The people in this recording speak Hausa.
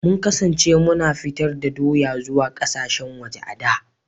Mun kasance muna fitar da doya zuwa kasashen waje a da.